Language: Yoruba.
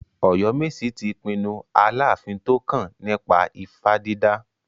Oyomesi ti pinnu Aláàfin tó kàn nípa ifá dídà.